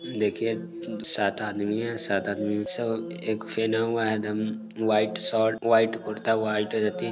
देखिये सात आदमी हैं सात आदमी सब एक हुआ हैंएम् white shirt white kurta white T--